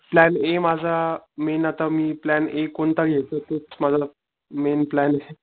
Plan A माझा main आता मी प्लॅन ए कोणता घेऊ तेच माझं मेन प्लॅने.